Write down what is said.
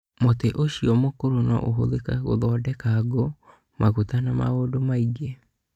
Mũtĩ ũcio mũkũrũ no ũhũthĩrũo gũthondeka ngũ, maguta, na maũndũ mangĩ.